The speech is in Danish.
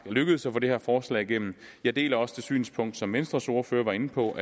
lykkedes at få det her forslag igennem jeg deler også det synspunkt som venstres ordfører var inde på